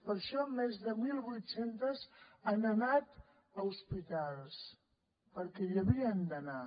per això més de mil vuit cents han anat a hospitals perquè hi havien d’anar